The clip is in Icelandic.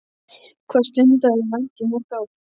Hvað stundaðirðu vændi í mörg ár?